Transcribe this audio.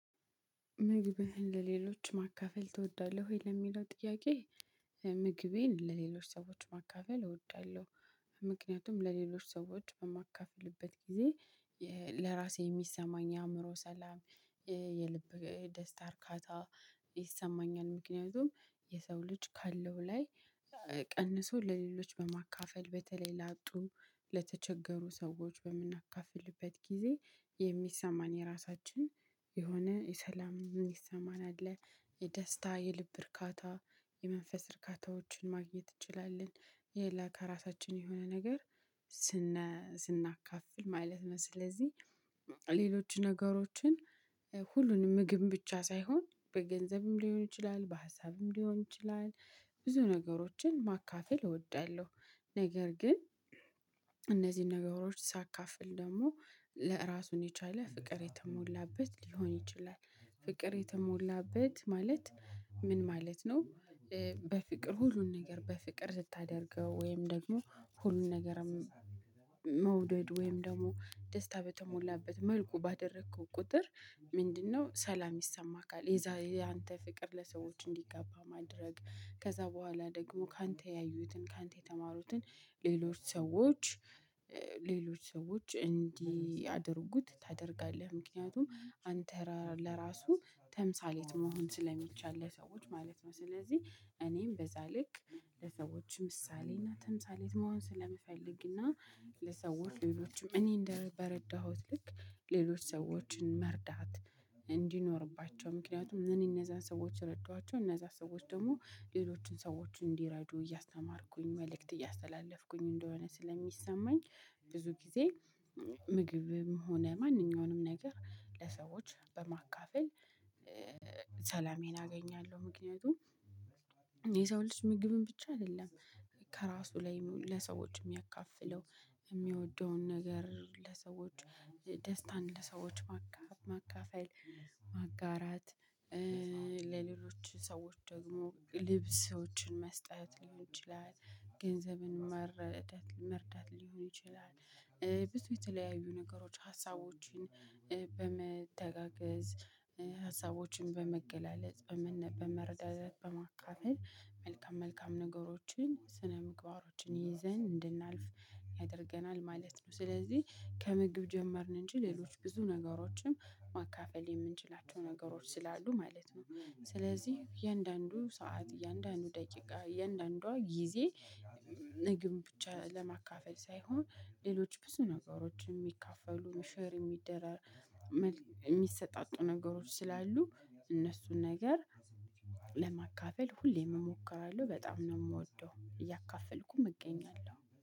ምግብህን ለሌሎች ማካፈል ተወዳለሁ ወይ? ለሚለው ጥያቄ ምግቤን ለሌሎች ሰዎች ማካፈል እወዳለሁ። ምክንያቱም ለሌሎች ሰዎች በማካፈልበት ጊዜ ለራሴ የሚሰማኝ የአእምሮ ሰላም የልብ ደስታ እርካታ ይሰማኛል። ምክንያቱም የሰው ልጅ ካለው ላይ ቀንሶ ለሌሎች በማካፈል በተለይ ላጡ ለተቸገሩ ሰዎች በምናካፍልበት ጊዜ የሚሰማን የራሳችን የሆነ የሰላም እሚሰማን አለ የደስታ የልብ እርካታ የመንፈስ እርካታዎችን ማግኘት እንችላለን። የላ ከራሳችን የሆነ ነገር ስናካፍል ማለት ነው። ስለዚህ ሌሎች ነገሮችን ሁሉንም ምግብ ብቻ ሳይሆን በገንዘብም ሊሆን ይችላል በሀሳብም ሊሆን ይችላል። ብዙ ነገሮችን ማካፈል እወዳለሁ። ነገር ግን እነዚህን ነገሮች ሳካፍል ደግሞ ለ ራሱን የቻለ ፍቅር የተሞላበት ሊሆን ይችላል። ፍቅር የተሞላበት ማለት ምን ማለት ነው? በፍቅር ሁሉን ነገር በፍቅር ስታደርገው ወይም ደግሞ ሁሉን ነገርም መውደድ ወይም ደግሞ ደስታ በተሞላበት መልኩ ባደረከው ቁጥር። ምንድነው ሰላም ይሰማሃል። የዛ ያንተ ፍቅር ለሰዎች እንዲጋባ ማድረግ ከዛ በኋላ ደግሞ ካንተ ያዩትን ካንተ የተማሩትን ሌሎች ሰዎች መውደድ ወይም ደግሞ ደስታ በተሞላበት መልኩ ባደረከው ቁጥር ምንድነው ሰላም ይሰማካል። የዛ ያንተ ፍቅር ለሰዎች እንዲጋባ ማድረግ ከዛ በኋላ ደግሞ ካንተ ያዩትን ካንተ የተማሩትን ሌሎች ሰዎች። ለሰዎች ሌሎችም እኔ እንደ በረዳሁት ልክ ሌሎች ሰዎችን መርዳት እንዲኖርባቸው ምክንያቱም እኔ እነዛን ሰዎች ረዳኋቸው እነዛ ሰዎች ደግሞ ሌሎችን ሰዎችን እንዲረዱ እያስተማርኩኝ መልእክት እያስተላለፍኩኝ እንደሆነ ስለሚሰማኝ። ብዙ ጊዜ ምግብም ሆነ ማንኛውንም ነገር ለሰዎች በማካፈል አገኛለሁ። ምክንያቱም የሰው ልጅ ምግብን ብቻ አይደለም። ከራሱ ላይ ለሰዎች የሚያካፍለው የሚወደውን ነገር ለሰዎች ደስታን ለሰዎች ማካፈል ማጋራት። ለሌሎች ሰዎች ደግሞ ልብሶችን መስጠት ሊሆን ይችላል። ገንዘብን መረዳት መርዳት ሊሆን ይችላል። ብዙ የተለያዩ ነገሮች ሀሳቦችን በመተጋገዝ ሀሳቦችን በመገለጽ በመረዳዳት በማካፈል መልካም መልካም ነገሮችን ስነ ምግባሮችን ይዘን እንድናልፍ ያደርገናል ማለት ነው። ስለዚህ ከምግብ ጀመርን እንጂ ሌሎች ብዙ ነገሮችን ማካፈል የምንችላቸው ነገሮች ስላሉ ማለት ነው። ስለዚህ እያንዳንዱ ሰዓት እያንዳንዱ ደቂቃ እያንዳንዷ ጊዜ ምግብ ብቻ ለማካፈል ሳይሆን ሌሎች ብዙ ነገሮች የሚካፈሉ ሸር የሚደራ የሚሰጣጡ ነገሮች ስላሉ እነሱን ነገር ለማካፈል ሁሌም እሞክራለሁ በጣም ነው እምወደው እያካፈልኩም እገኛለሁ